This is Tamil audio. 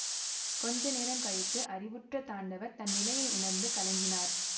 கொஞ்ச நேரம் கழித்து அறிவுற்ற தாண்டவர் தன் நிலையை உணர்ந்து கலங்கினார்